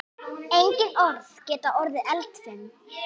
Einnig orð geta orðið eldfim.